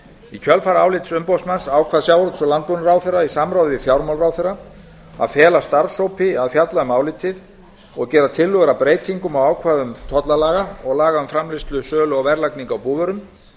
í kjölfar álits umboðsmanns ákvað sjávarútvegs og landbúnaðarráðherra í samráði við fjármálaráðherra að fela starfshópi að fjalla um álitið og gera tillögur að breytingum á ákvæðum tollalaga og laga um framleiðslu sölu og verðlagningu á búvörum